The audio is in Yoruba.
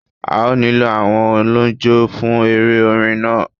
A ó nílò àwọn oníjó fún eré orin náà